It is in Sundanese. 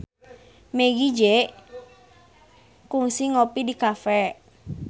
Meggie Z kungsi ngopi di cafe